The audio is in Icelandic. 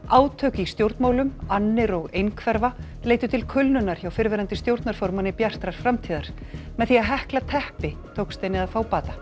átök í stjórnmálum annir og einhverfa leiddu til kulnunar hjá fyrrverandi stjórnarformanni Bjartrar framtíðar með því að hekla teppi tókst henni að fá bata